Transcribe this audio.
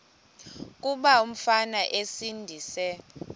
kuba umfana esindise